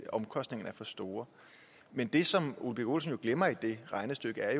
omkostningerne er for store men det som ole birk olesen glemmer i det regnestykke er